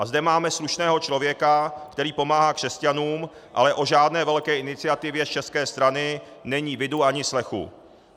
A zde máme slušného člověka, který pomáhá křesťanům, ale o žádné velké iniciativě z české strany není vidu ani slechu.